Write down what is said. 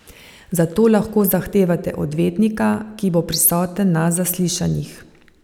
Zato lahko zahtevate odvetnika, ki bo prisoten na zaslišanjih.